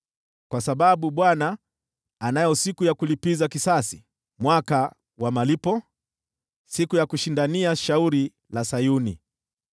Kwa sababu Bwana anayo siku ya kulipiza kisasi, mwaka wa malipo, siku ya kushindania shauri la Sayuni.